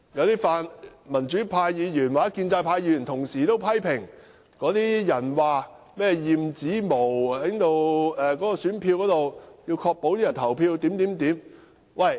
有泛民主派議員及建制派議員同時批評，有人提出選票要驗指模以確保選委投票的取態。